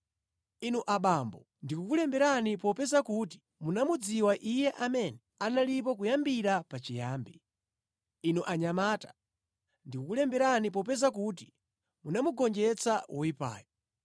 Inu abambo, ndikukulemberani popeza kuti munamudziwa Iye amene analipo kuyambira pachiyambi. Inu anyamata, ndikukulemberani popeza kuti munagonjetsa woyipayo.